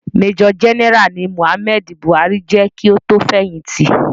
Major general ni Muhammadu Buhari je ki o tó fẹ̀hìtì.